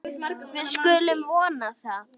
Við skulum vona það.